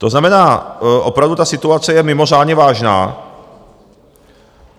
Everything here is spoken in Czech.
To znamená, opravdu ta situace je mimořádně vážná.